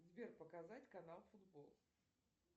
сбер показать канал футбол